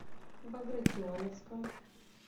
багратионовском